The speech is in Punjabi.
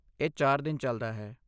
ਇਹ ਚਾਰ ਦਿਨ ਚੱਲਦਾ ਹੈ।